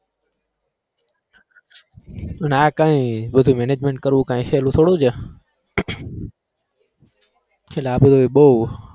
અને કઈ બધું management કરવું કાઈ સહેલું થોડું છે એટલે આ બધું બહુ